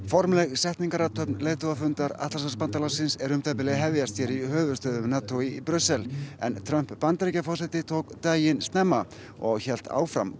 formleg setningarathöfn leiðtogafundar Atlantshafsbandalagsins er um það bil að hefjast hér í höfuðstöðvum NATO í Brussel en Trump Bandaríkjaforseti tók daginn snemma og hélt áfram